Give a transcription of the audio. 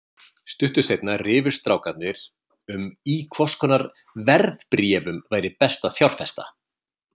Stuttu seinna rifust strákarnir um í hvers konar verðbréfum væri best að fjárfesta.